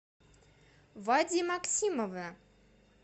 вади максимова